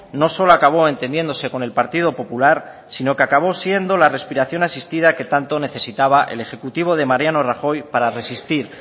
no solo acabó entendiéndose con el partido popular sino que acabó siendo la respiración asistida que tanto necesitaba el ejecutivo de mariano rajoy para resistir